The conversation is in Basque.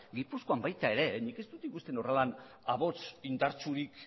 gipuzkoan baita ere nik ez dut ikusten horrela ahots indartsurik